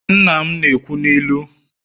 nna m na-ekwu n'ilu